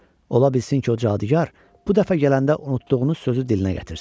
Ola bilsin ki, o cadugar bu dəfə gələndə unutduğunu sözü dilinə gətirsin."